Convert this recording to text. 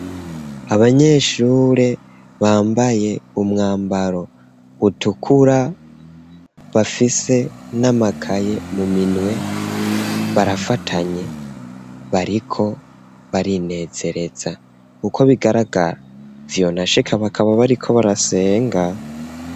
Abanyeshuri bambaye umwambaro utukura bafise n'amakaye mu minwe barafatanye bariko barinezereza uko bigagaragara vyonashika bakaba bariko barasenga.